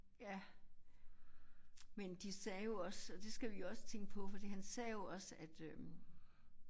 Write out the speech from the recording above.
Ja men de sagde jo også og det skal vi også tænke på fordi han sagde jo også at øh